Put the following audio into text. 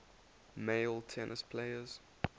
male tennis players